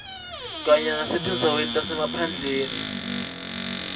kanye nasetindzaweni tasemaphandleni